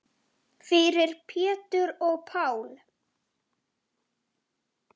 Fyrir Pétur og Pál.